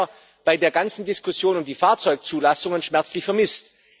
Das haben wir bei der ganzen Diskussion um die Fahrzeugzulassungen schmerzlich vermisst.